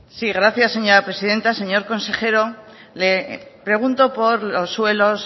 sí gracias señora presidenta señor consejero le pregunto por los suelos